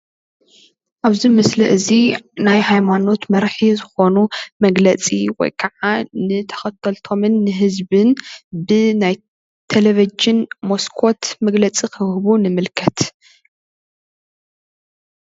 ኣብዚ ምስሊ እዚ ናይ ሃይማኖት መራሒ ዝኮኑ መግለፂ ወይ ከዓ ንተከተልቶምን ንህዝብን ብናይ ቴለቭዥን መስኮት መግለፂ ክህቡ ንምልከት፡፡